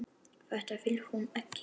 Þetta vill hún ekki.